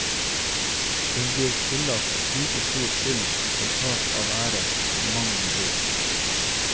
Hun blir tillagt like stor skyld for tap av ære som mannen blir.